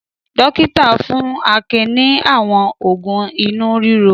Dọ́kítá fún Akin ní àwọn òògùn inú ríro.